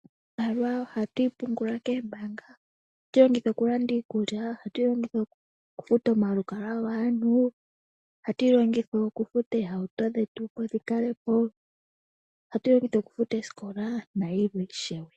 Iimaliwa ohatu yipungula koombaanga. Ohatu yi longitha okulanda iikulya, ohatu yilongitha okufuta omalukalwa gaantu, ohatu yilongitha okufuta oohauto dhetu opo dhikale po, ohatu yilongitha okufuta oosikola nayilwe ishewe.